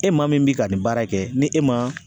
E maa min bi ka nin baara kɛ, ni e ma